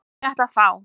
Ég ætla að fá.